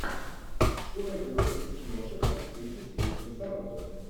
что найдется из киношек с актрисой сьюзан сарандон